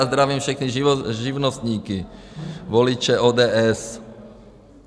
A zdravím všechny živnostníky, voliče ODS.